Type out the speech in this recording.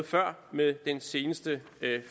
før med den seneste